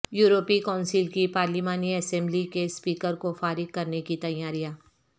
یورپی کونسل کی پارلیمانی اسمبلی کے اسپیکرکو فارغ کرنے کی تیاریاں